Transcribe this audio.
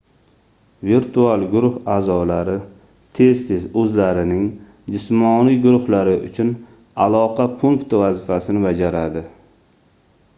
virtual guruh aʼzolari tez-tez oʻzlarining jismoniy guruhlari uchun aloqa punkti vazifasini bajaradi